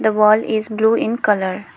wall is blue in colour.